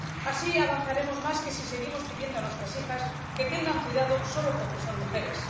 Así avanzaremos más que si seguimos pidiendo a nuestras hijas que tengan cuidado solo porque son mujeres.